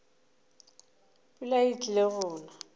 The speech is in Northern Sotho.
pula e tlile go na